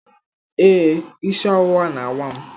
Ee, isi ọwụwa na-awa m.